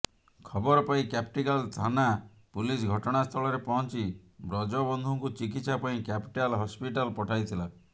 ଖବର ପାଇ କ୍ୟାପିଟାଲ ଥାନା ପୁଲିସ ଘଟଣାସ୍ଥଳରେ ପହଞ୍ଚି ବ୍ରଜବନ୍ଧୁଙ୍କୁ ଚିକିତ୍ସା ପାଇଁ କ୍ୟାପିଟାଲ ହସ୍ପିଟାଲ ପଠାଇଥିଲା